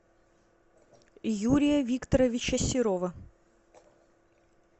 юрия викторовича серова